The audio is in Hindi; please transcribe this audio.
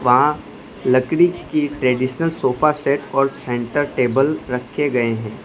वहां लकड़ी की ट्रेडिशनल सोफा सेट और सेंटर टेबल रखे गए हैं।